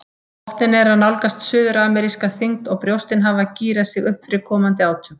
Botninn er að nálgast suðurameríska þyngd og brjóstin hafa gírað sig upp fyrir komandi átök.